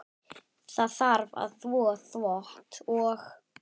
Það þarf að þvo þvott og.